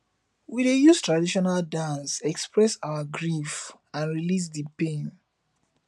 we dey use traditional dances express our grief and release di pain